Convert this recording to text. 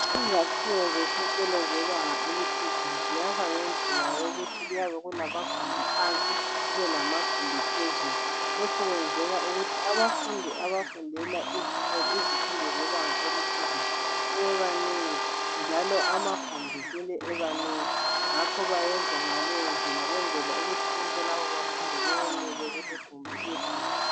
Izakhiwo zesikolo zebanga eliphezulu ziyakhwa ngendlela yokuthi kuyaba kulamagumbi phansi kube lamagumbi phezulu, lokhu kwenzelwa ukuthi abafundi abafundela izifundo zebanga eliphezulu sebebanengi njalo amagumbi kumele ebe manengi ngakho bayenza ngaleyo ndlela ukwenzela ukuthi bonke laba bafundi bayenele kuligumbi elinye.